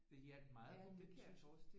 Det hjalp meget på mit tysk